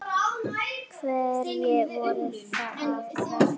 Hverjir voru að verki?